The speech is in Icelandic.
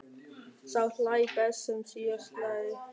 Sá hlær best sem síðast hlær!